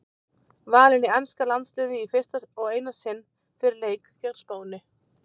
Valinn í enska landsliðið í fyrsta og eina sinn fyrir leik gegn Spáni.